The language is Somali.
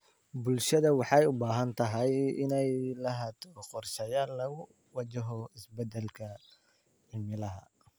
Bulshada waxay u baahan tahay inay lahaato qorshayaal lagu wajaho isbedelka cimilada.